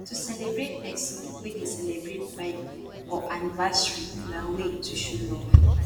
to celebrate persin wey de celebrate birthday or anniversary na way to show love